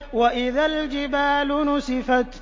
وَإِذَا الْجِبَالُ نُسِفَتْ